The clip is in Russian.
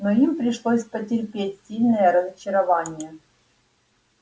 но им пришлось потерпеть сильное разочарование